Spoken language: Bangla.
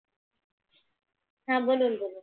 হ্যাঁ বলুন বলুন।